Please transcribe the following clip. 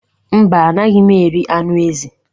Mba, anaghị m eri anụ ezi.